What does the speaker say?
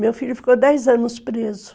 Meu filho ficou dez anos preso.